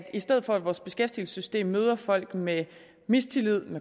i stedet for at vores beskæftigelsessystem møder folk med mistillid